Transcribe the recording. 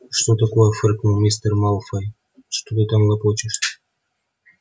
что такое фыркнул мистер малфой что ты там лопочешь